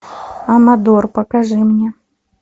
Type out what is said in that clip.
амадор покажи мне